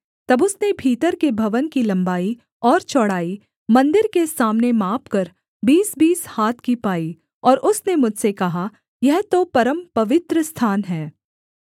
तब उसने भीतर के भवन की लम्बाई और चौड़ाई मन्दिर के सामने मापकर बीसबीस हाथ की पाई और उसने मुझसे कहा यह तो परमपवित्र स्थान है